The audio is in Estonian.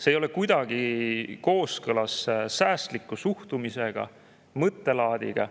See ei ole kuidagi kooskõlas säästliku suhtumisega, säästliku mõttelaadiga.